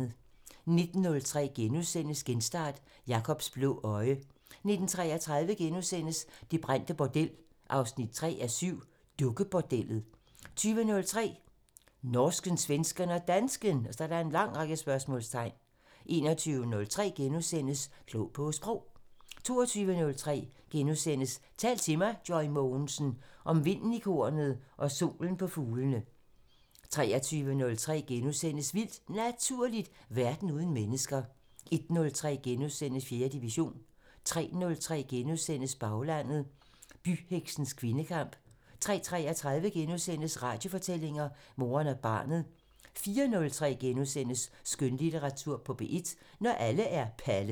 19:03: Genstart: Jakobs blå øje * 19:33: Det brændte bordel 3:7 – Dukkebordellet * 20:03: Norsken, svensken og dansken ????? 21:03: Klog på Sprog * 22:03: Tal til mig – Joy Mogensen: Om vinden i kornet og solen på fuglene * 23:03: Vildt Naturligt: Verden uden mennesker * 01:03: 4. division * 03:03: Baglandet: Byheksenes kvindekamp * 03:33: Radiofortællinger: Moren og barnet * 04:03: Skønlitteratur på P1: Når alle er Palle *